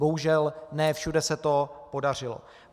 Bohužel ne všude se to podařilo.